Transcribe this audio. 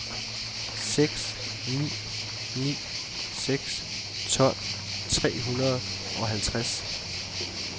seks ni ni seks tolv tre hundrede og halvtreds